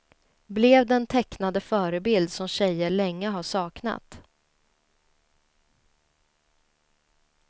Blev den tecknade förebild som tjejer länge har saknat.